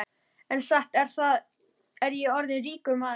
En satt er það, ég er orðinn ríkur maður.